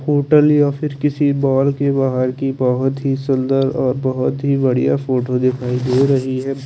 Hotel या फिर किसी मॉल के बाहर की बहुत ही सुंदर और बहुत ही बढ़िया फोटो दिखाई दे रही है।